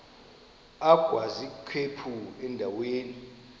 agwaz ikhephu endaweni